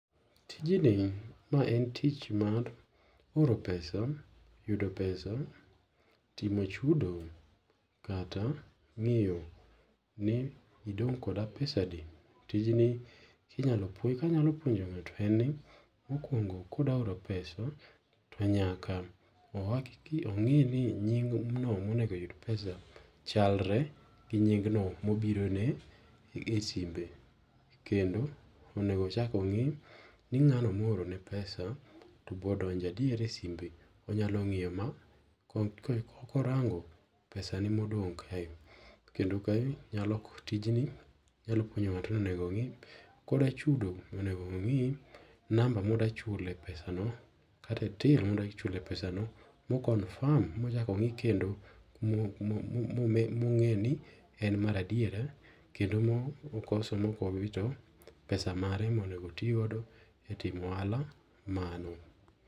Tijni, ma en tich mar oro pesa, yudo pesa, timo chudo kata ng'iyo ni idong' koda pesa adi. Tijni ka anyalo puonjo ng'ato en ni, mokuongo ka odwa oro pesa to nyaka o hakikisha, ong'i ni nyingno mo ma onego oyud pesa chalre gi nyingno ma obiro ne e simbe kendo onego ochak ong'i ni ng'ano ma oorone pesa to be odonjo adier e simbe. Onyalo ngiyo ma ka orango pesa ne ma odong kae kendo kae tijni nyalo puonjo ngato ni onego ng'i ka odwa chudo onego ongi namba ma odwa chulo e pesa no kata till ma odwa chule e pesa no ka o confirm ma ochak ongi kendo ma onge ni en mar adieri kendo ma okoso ma ok owito pesa mare ma onego oti godo e timo ohala mano.